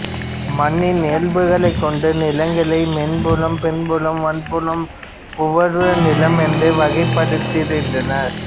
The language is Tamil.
மண்ணின் இயல்புகளைக் கொண்டு நிலங்களை மென்புலம் பின்புலம் வன்புலம் உவர்நிலம் என்று வகைப்படுத்திருந்தனர்